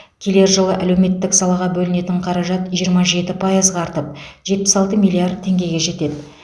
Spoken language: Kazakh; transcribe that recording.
келер жылы әлеуметтік салаға бөлінетін қаражат жиырма жеті пайызға артып жетпіс алты миллиард теңгеге жетеді